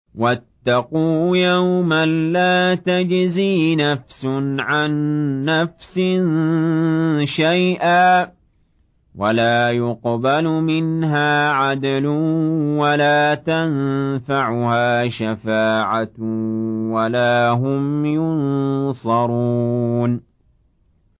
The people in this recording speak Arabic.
وَاتَّقُوا يَوْمًا لَّا تَجْزِي نَفْسٌ عَن نَّفْسٍ شَيْئًا وَلَا يُقْبَلُ مِنْهَا عَدْلٌ وَلَا تَنفَعُهَا شَفَاعَةٌ وَلَا هُمْ يُنصَرُونَ